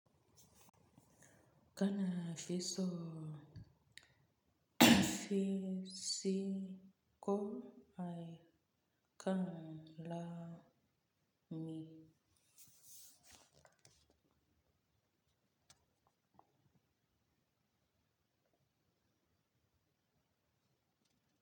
Kana fiso fi si ko ai kan la mi.